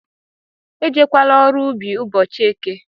Ejekwala ọrụ ubi ụbọchị eke!